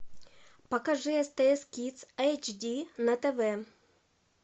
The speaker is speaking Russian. покажи стс кидс эйч ди на тв